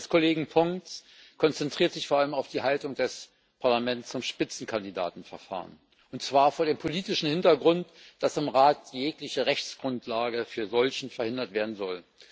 Der Bericht des Kollegen Pons konzentriert sich vor allem auf die Haltung des Parlaments zum Spitzenkandidaten Verfahren und zwar vor dem politischen Hintergrund, dass im Rat jegliche Rechtsgrundlage für einen solchen verhindert werden soll.